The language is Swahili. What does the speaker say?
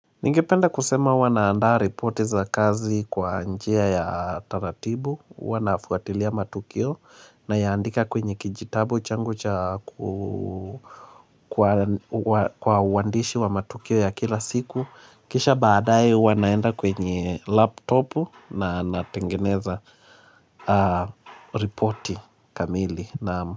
Ningependa kusema huwa na andaa reporti za kazi kwa njia ya taratibu, huwa na fuatilia matukio naya andika kwenye kijitabu changu cha ku kwa wandishi wa matukio ya kila siku. Kisha baadaye wanaenda kwenye laptopu na natengeneza reporti kamili.